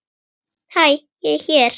Hæ hér er ég.